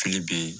Fili bɛ yen